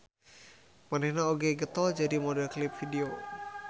Manehna oge getol jadi model klip video.